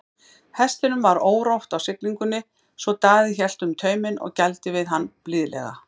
Hestinum var órótt á siglingunni svo Daði hélt um tauminn og gældi við hann blíðlega.